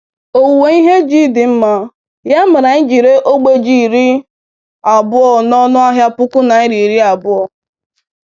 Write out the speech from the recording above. Owuwe ihe ji dị mma, ya mere anyị jiri ree ogbe ji iri abụọ n'ọnụ ahịa puku naịra iri abụọ.